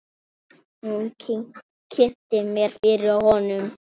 Hún kynnti mig fyrir honum.